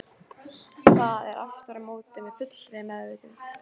Það er aftur á móti með fullri meðvitund.